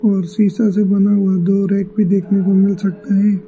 और शीशा से बना हुआ दो रैक भी देखने को मिल सकता है।